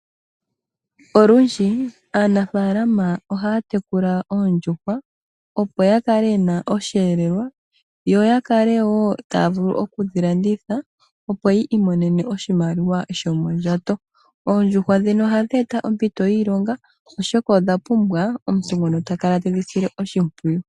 Olundji aanafaalama ohaya tekula oondjuhwa opo ya kale yena osheelelwa yo yakale wo taya vulu okudhi landitha opo yi imonene oshimaliwa shomondjato. Oondjuhwa dhino ohadhi eta ompito yiilonga oshoka odha pumbwa omuntu ngono ta kala tedhi sile oshimpwiyu.